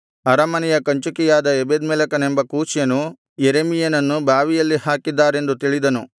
ಅರಮನೆಯ ಕಂಚುಕಿಯಾದ ಎಬೆದ್ಮೆಲೆಕನೆಂಬ ಕೂಷ್ಯನು ಯೆರೆಮೀಯನನ್ನು ಬಾವಿಯಲ್ಲಿ ಹಾಕಿದ್ದಾರೆಂದು ತಿಳಿದನು